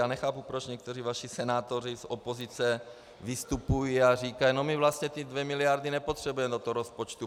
Já nechápu, proč někteří vaši senátoři z opozice vystupují a říkají: No, my vlastně ty dvě miliardy nepotřebujeme do toho rozpočtu.